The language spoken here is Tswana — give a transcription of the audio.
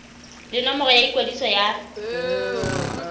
le nomoro ya ikwadiso ya